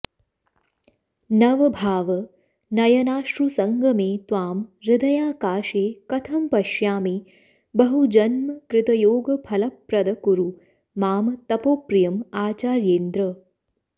नवभाव नयनाश्रु सङ्गमे त्वां हृदयाकाशे कथं पश्यामि बहुजन्म कृतयोग फलप्रद कुरु मां तपोप्रियं आचार्येन्द्र